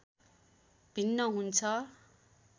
भिन्न हुन्छ।